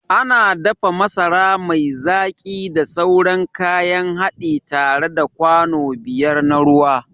Ana dafa masara mai zaki da sauran kayan haɗi tare da kwano biyar na ruwa.